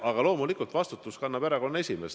Aga loomulikult vastutust kannab erakonna esimees.